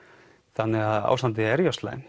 þannig að ástandið er jú slæmt